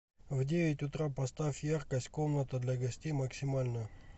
в девять утра поставь яркость комната для гостей максимальную